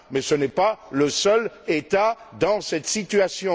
Mais ce n'est pas le seul État dans cette situation.